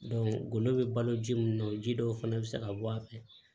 golo bɛ balo ji mun na o ji dɔw fɛnɛ bɛ se ka bɔ a fɛ